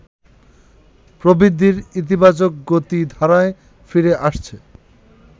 প্রবৃদ্ধির ইতিবাচক গতিধারায় ফিরে আসছে